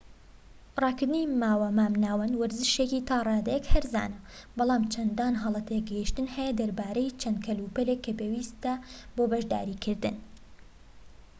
ڕاکردنی ماوە مامناوەند وەرزشێكی تا ڕادەیەك هەرزانە بەڵام چەندان هەڵە تێگەشتن هەیە دەربارەی چەند کەلوپەلێك کە پێویستە بۆ بەشداریکردن